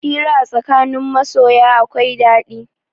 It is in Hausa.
Hira a tsakanin masoya akwai ɗaɗi.